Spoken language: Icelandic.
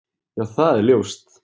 Já það er ljóst.